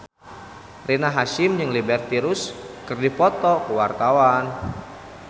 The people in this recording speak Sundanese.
Rina Hasyim jeung Liberty Ross keur dipoto ku wartawan